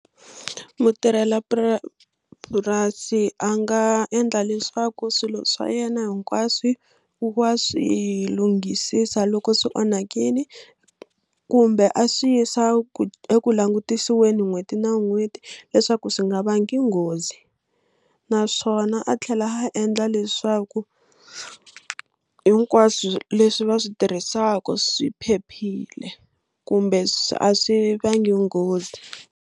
purasi a nga endla leswaku swilo swa yena hinkwaswo wa swi lunghisisa loko swi onhakile kumbe a swi yisa ku eku langutisiwini n'hweti na n'hweti leswaku swi nga vanga nghozi naswona a tlhela a endla leswaku hinkwaswo leswi va swi tirhisaku swi phephile kumbe a swi vanga nghozi.